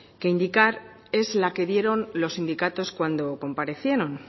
que indicar es la que dieron los sindicatos cuando comparecieron